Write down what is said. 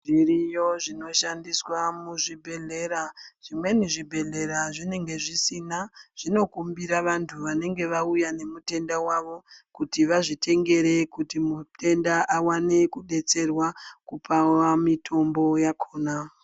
Zviriyo zvinoshandiswa muzvibhedhlera zvimweni zvibhedhlera zvinenge zvisina vachindokumbira vantu vanenge vauya nemutenda wavo kuti vazvitengere mutenda aone kudetserwa mutombo wakona.